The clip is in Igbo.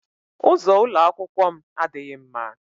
Ụzọ ụlọ akwụkwọ m adịghị mma.